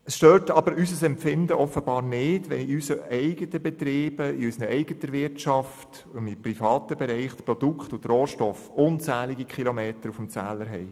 Offenbar stört es unser Empfinden nicht, wenn in unseren eigenen Betrieben, in unserer eigenen Wirtschaft – jedenfalls im privaten Bereich – Produkte und Rohstoffe unzählige Kilometer auf dem Zähler haben.